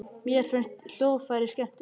Mér finnst hljóðfræði skemmtileg.